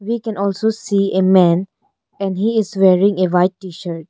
We can also see a man and he is wearing a white T-shirt.